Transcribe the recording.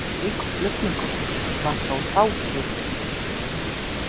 Slíkur flutningur var þó fátíður.